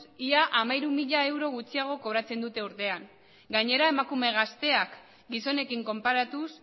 ia hamairu mila euro gutxiago kobratzen dute urtean gainera emakume gazteak gizonekin konparatuz